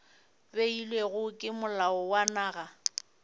beilwego ke molao wa naga